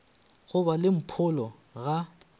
go ba le mpholo ga